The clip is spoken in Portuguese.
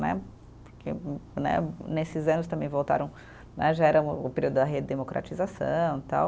Né, porque né, nesses anos também voltaram né, já era o período da redemocratização, tal.